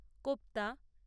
kofta